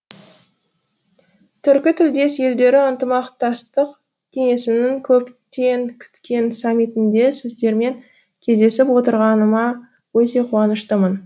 түркі тілдес елдері ынтымақтастық кеңесінің көптен күткен саммитінде сіздермен кездесіп отырғаныма өте қуаныштымын